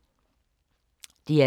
DR2